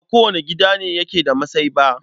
Ba kowane gida ne yake da masai ba.